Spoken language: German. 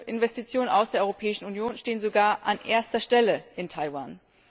Investitionen aus der Europäischen Union stehen sogar an erster Stelle in Taiwan.